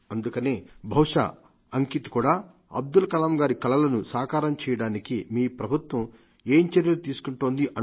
అందుకనే బహుశా అంకిత్ కూడా అబ్దుల్ కలాం గారి కలలను సకారం చేయడానికి మీ ప్రభుత్వం ఏం చర్యలు తీసుకుంటోంది